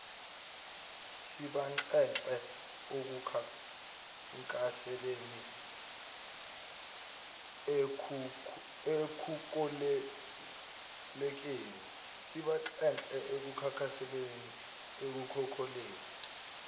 sibanxenxe ekukhankaseleni ekukolekeni